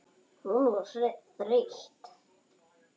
Hún var þreytt.